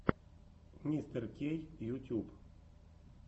мистеркей ютюб